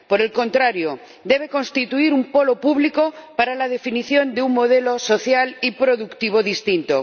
Por el contrario, debe constituir un polo público para la definición de un modelo social y productivo distinto.